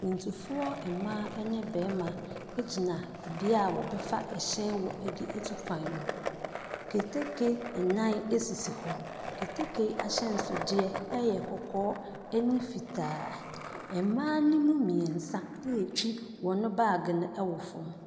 Akwantufoɔ mmaa ne barima gyina bea a wɔbɛfa hyɛn wɔ de atu kwan no. Keteke nnan sisi hɔ. Keteke ahyɛnsodeɛ yɛ kɔkɔɔ ne fitaa. Mmaa no mu mmeɛnsa retwi wɔn baage no wɔ fam.